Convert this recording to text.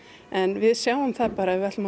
en við sjáum bara að ef við ætlum að